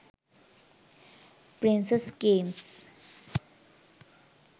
princess games